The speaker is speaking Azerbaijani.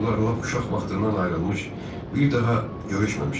Onlar lap uşaq vaxtından ayrılmış, bir daha görüşməmişlər.